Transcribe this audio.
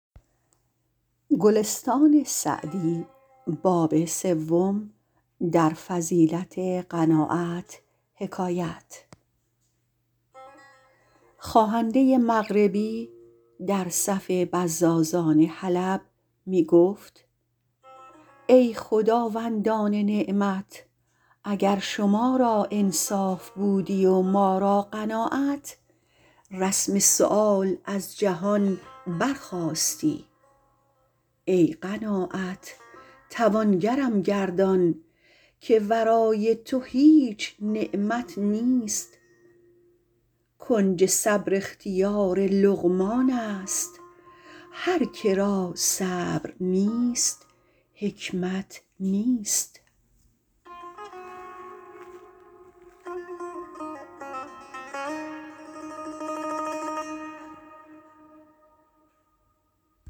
خواهنده مغربی در صف بزازان حلب می گفت ای خداوندان نعمت اگر شما را انصاف بودی و ما را قناعت رسم سؤال از جهان برخاستی ای قناعت توانگرم گردان که ورای تو هیچ نعمت نیست کنج صبر اختیار لقمان است هر که را صبر نیست حکمت نیست